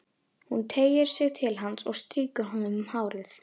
Hún teygir sig til hans og strýkur honum um hárið.